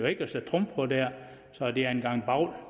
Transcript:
ikke sætte trumf på der så det er en gang bavl